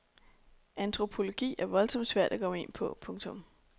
Antropologi er voldsomt svært at komme ind på. punktum